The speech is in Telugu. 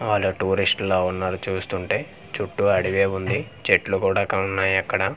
ఆళ్ళు టూరిస్ట్ లా వున్నారుచూస్తుంటే చుట్టూ అడివే వుంది చెట్లు కూడా కనునున్నాయి అక్కడ .]